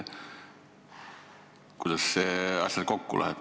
Kuidas see asjaga kokku läheb?